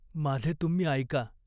माझे तुम्ही ऐका.